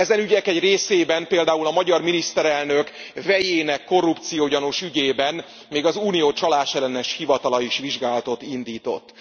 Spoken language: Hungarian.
Ezen ügyek egy részében, például a magyar miniszterelnök vejének korrupciógyanús ügyében még az Unió Csalásellenes Hivatala is vizsgálatot indított.